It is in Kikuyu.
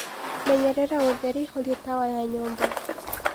menyereraũtherĩ horĩa tawa wa nyũmba